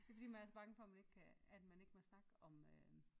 Det fordi man er så bange for man ikke kan at man ikke må snakke om øh